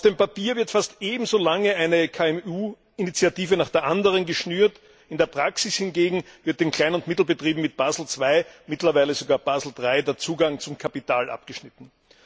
Auf dem Papier wird fast ebenso lange eine KMU Initiative nach der anderen geschnürt, in der Praxis hingegen wird den Klein und Mittelbetrieben mit Basel 2, mittlerweile sogar Basel 3, der Zugang zum Kapital abgeschnitten.